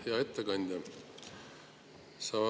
Hea ettekandja!